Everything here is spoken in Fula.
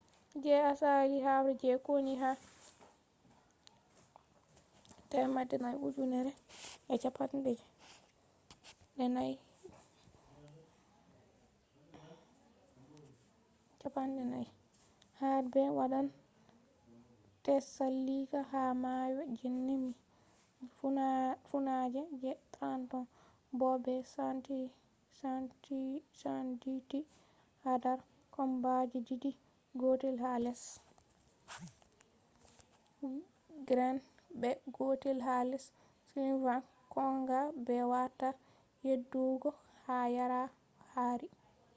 je asali habre je konu ha 2,400 warbe wadan tsalika ha mayo jenai miles funange je trenton bo be senditi hadar kombaji didi gotel ha less greene be gotel ha less sullivan kogan bewada yedugo ha ore-dawn yara hari